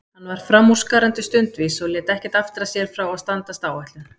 Hann var framúrskarandi stundvís og lét ekkert aftra sér frá að standast áætlun.